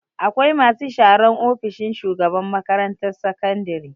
Akwai masu sharan ofishin shugaban makarantar sakandare.